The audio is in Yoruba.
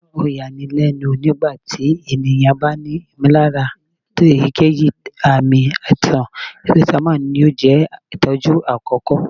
o ya ní lénu, nígbà tí ènìyàn bá ní ìmọ̀lára èyíkéyìí ààmì aíṣan, paracetamol yóò jẹ itọju akọkọ